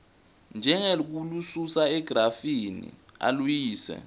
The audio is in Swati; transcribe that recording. njengekulususa egrafini aluyise